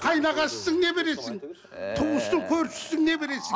қайынағасысың не бересің туыссың көршісісің не бересің